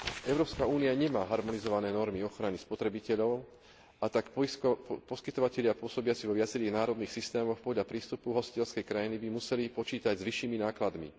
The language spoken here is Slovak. Európska únia nemá harmonizované normy ochrany spotrebiteľov, a tak poskytovatelia pôsobiaci vo viacerých národných systémoch podľa prístupu hostiteľskej krajiny by museli počítať s vyššími nákladmi.